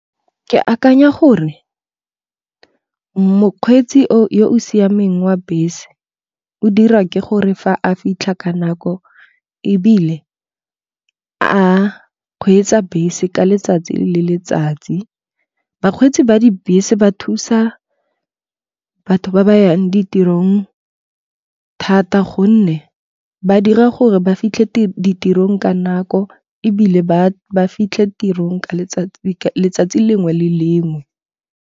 Ke akanya gore mokgweetsi yo o siameng wa bese o dira ke gore fa a fitlha ka nako ebile a kgweetsa bese ka letsatsi le letsatsi. Bakgweetsi ba dibese ba thusa batho ba ba yang ditirong thata gonne ba dira gore ba fitlhe ditirong ka nako ebile ba fitlhe tirong ka letsatsi lengwe le lengwe.